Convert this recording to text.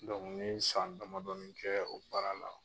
n ye san damadɔni kɛ o baara la.